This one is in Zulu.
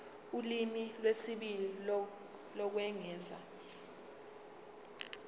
ulimi lwesibili lokwengeza